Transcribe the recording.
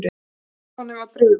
Stefáni var brugðið.